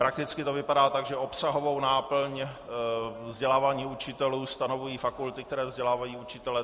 Prakticky to vypadá tak, že obsahovou náplň vzdělávání učitelů stanovují fakulty, které vzdělávají učitele.